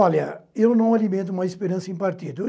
Olha, eu não alimento mais esperança em partido.